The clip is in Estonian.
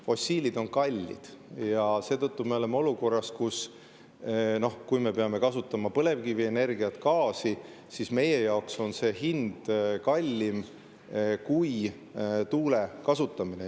Fossiilid on kallid ja seetõttu me oleme olukorras, kus põlevkivienergia ja gaasi hind on meie jaoks kallim kui tuule.